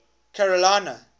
carolina